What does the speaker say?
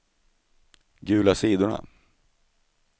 gula sidorna